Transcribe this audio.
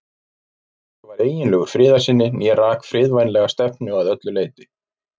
Hvorugur var eiginlegur friðarsinni né rak friðvænlega stefnu að öllu leyti.